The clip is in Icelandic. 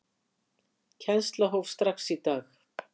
Kennsla hófst strax í dag.